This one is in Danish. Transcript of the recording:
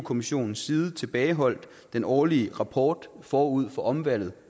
kommissionens side tilbageholdt den årlige rapport forud for omvalget